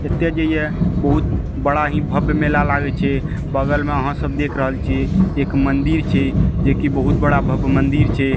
एते जे ये बहुत बड़ा ही भव्य मेला लागे छै बगल में आहां सब देख रहल छी एक मंदिर छै जैकी बहुत बड़ा भव्य मंदिर छै।